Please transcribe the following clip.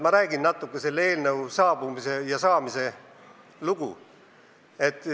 Ma räägin natuke selle eelnõu saamise loost.